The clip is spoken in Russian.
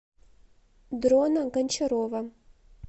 дрона гончарова